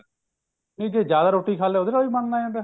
ਕਿ ਜੇ ਜਿਆਦਾ ਰੋਟੀ ਖਾਲੀ ਏ ਉਹਦੇ ਨਾਲ ਵੀ ਬਣਨ ਲੱਗ ਜਾਂਦਾ